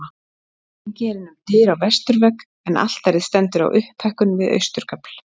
Gengið er inn um dyr á vesturvegg en altarið stendur á upphækkun við austurgafl.